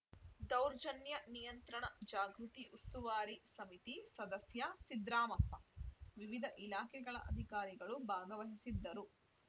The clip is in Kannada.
ದೌರ್ಜನ್ಯ ನಿಯಂತ್ರಣ ಜಾಗೃತಿ ಉಸ್ತುವಾರಿ ಸಮಿತಿ ಸದಸ್ಯ ಸಿದ್ರಾಮಪ್ಪ ವಿವಿಧ ಇಲಾಖೆಗಳ ಅಧಿಕಾರಿಗಳು ಭಾಗವಹಿಸಿದ್ದರು